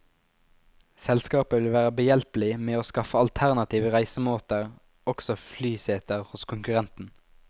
Selskapet vil være behjelpelig med å skaffe alternative reisemåter, også flyseter hos konkurrenten.